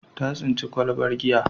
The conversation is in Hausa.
Ta tsinci kwalabar giya.